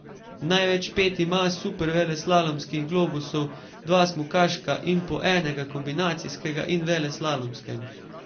Največ pet ima superveleslalomskih globusov, dva smukaška in po enega kombinacijskega in veleslalomskega.